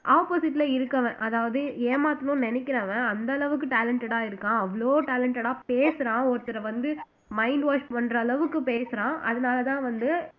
opposite ல இருக்கவன் அதாவது ஏமாத்தணும்னு நினைக்கிறவன் அந்த அளவுக்கு talented இருக்கான் அவ்ளோ talented ஆ பேசுறான் ஒருத்தரை வந்து mind wash பண்ற அளவுக்கு பேசுறான் அதனாலதான் வந்து